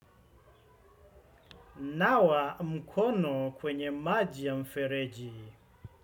Nawa mkono kwenye maji ya mfereji.